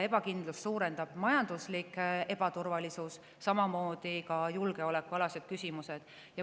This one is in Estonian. Ebakindlust suurendab majanduslik ebaturvalisus, samamoodi julgeolekuküsimused.